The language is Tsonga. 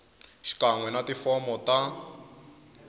xikan we na tifomo ta